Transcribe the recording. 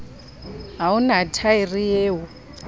ha o na thaere eo